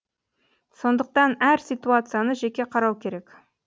сондықтан әр ситуацияны жеке қарау керек